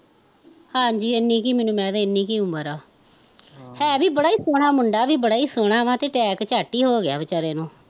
ਹਾਂਜੀ ਇੰਨੀ ਕੁ ਮੈਂਨੂੰ ਮੈਦ ਆ ਇੰਨੀ ਕੁ ਆ ਉਮਰ ਆ ਹੈ ਵੀ ਬੜਾ ਈ ਸੋਹਣਾ ਮੁੰਡਾ ਵੀ ਬੜਾ ਈ ਸੋਹਣਾ ਵਾਂ ਤੇ ਟੈਕ ਚੱਟ ਈ ਹੋਗਿਆ ਵਿਚਾਰੇ ਨੂੰ